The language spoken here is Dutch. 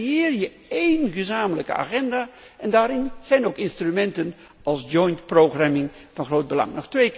Zo creëer je één gezamenlijke agenda en daarin zijn ook instrumenten als joint programming van groot belang.